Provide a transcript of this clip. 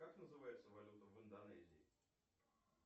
как называется валюта в индонезии